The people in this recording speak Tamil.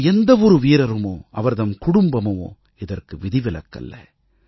நமது எந்த ஒரு வீரருமோ அவர் தம் குடும்பமுமோ இதற்கு விதிவிலக்கல்ல